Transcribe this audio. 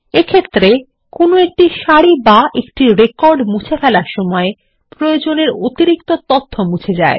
এক্ষেত্রে কোনো একটি সারি বা একটি রেকর্ড মুছে ফেলার সময় প্রয়োজনের অতিরিক্ত তথ্য মুছে যায়